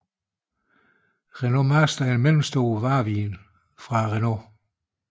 Renault Master er en mellemstor varebil fra Renault